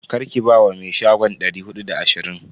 Karki ba wa me shagon dari hudu da ashirin.